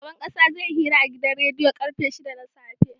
Shugaban ƙasa zai yi hira a gidan rediyo karfe shida na safe